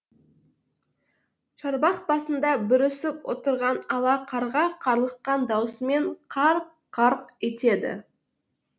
шарбақ басында бүрісіп отырған ала қарға қарлыққан даусымен қарқ қарқ етеді